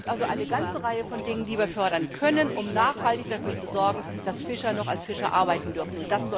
Es gibt also eine ganze Reihe von Dingen, die wir fördern können, um nachhaltig dafür zu sorgen, dass Fischer noch als Fischer arbeiten dürfen.